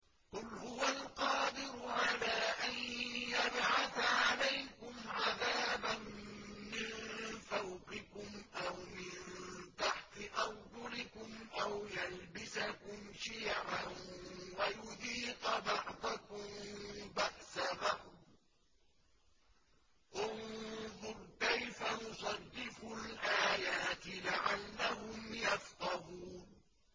قُلْ هُوَ الْقَادِرُ عَلَىٰ أَن يَبْعَثَ عَلَيْكُمْ عَذَابًا مِّن فَوْقِكُمْ أَوْ مِن تَحْتِ أَرْجُلِكُمْ أَوْ يَلْبِسَكُمْ شِيَعًا وَيُذِيقَ بَعْضَكُم بَأْسَ بَعْضٍ ۗ انظُرْ كَيْفَ نُصَرِّفُ الْآيَاتِ لَعَلَّهُمْ يَفْقَهُونَ